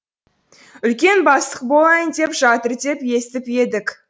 үлкен бастық болайын деп жатыр деп естіп едік